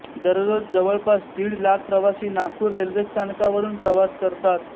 दररोज जवळपास दीड लाख प्रवासी नागपूर रेल्वे स्थानकावरून प्रवास करतात